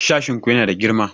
Sashin ku yana da girma?